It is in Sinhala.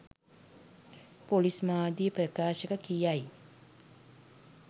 පොලිස් මාධ්‍ය ප්‍රකාශක කියයි